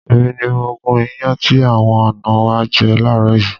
Èmi ni mo gún iyán tí àwọn àná wa jẹ láàárọ̀ yìí.